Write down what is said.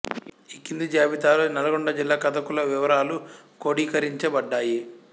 ఈ క్రింది జాబితాలో నల్గొండ జిల్లా కథకుల వివరాలు క్రోడీకరించబడ్డాయి